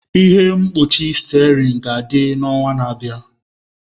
Ihe mkpuchi steering ga-adị n'ọnwa na-abịa.